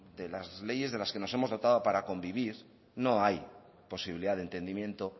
de las leyes de las que nos hemos dotado para convivir no hay posibilidad de entendimiento